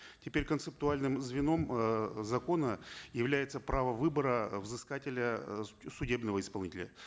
теперь концептуальным звеном э закона является право выбора взыскателя э судебного исполнителя